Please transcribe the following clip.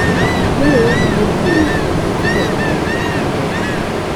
Dwarore ni jopur ong'e kaka ginyalo dak maber.